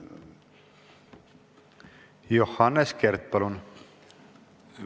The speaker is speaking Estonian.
Johannes Kert, palun!